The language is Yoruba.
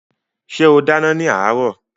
Ṣé ó dáná ní àárọ̀?